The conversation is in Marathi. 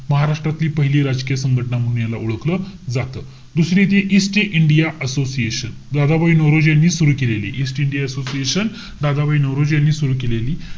महाराष्ट्रातली पहिली राजकीय संघटना म्हणून याला ओळखलं जातं. दुसरी ती East India Association. Dadabhai Naoroji यांनी सुरु केलेली. East India Association, Dadabhai Naoroji यांनी सुरु केलेली.